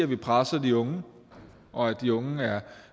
vi presser de unge og at de unge er